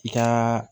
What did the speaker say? I ka